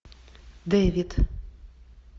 дэвид